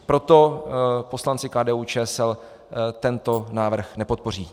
Proto poslanci KDU-ČSL tento návrh nepodpoří.